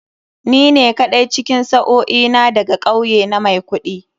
Ni ne kaɗai cikin sa'o'i na da ga kauye na mai kuɗi.